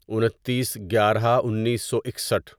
انتیس گیارہ انیسو اکسٹھ